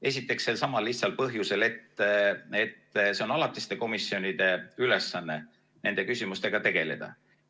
Esiteks, selsamal lihtsal põhjusel, et on alatiste komisjonide ülesanne nende küsimustega tegeleda.